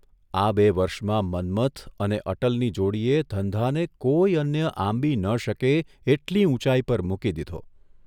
આ બે વર્ષમાં મન્મથ અને અટલની જોડીએ ધંધાને કોઇ અન્ય આંબી ન શકે એટલી ઊંચાઇ પર મૂકી દીધો.